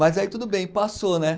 Mas aí tudo bem, passou, né?